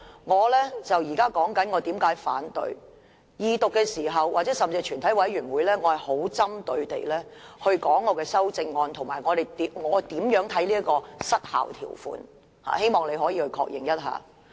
我現在說我為何反對，在二讀甚至是在全體委員會審議階段，我也是針對我的修正案發言，以及我如何看待失效條款，希望你可以確認一下。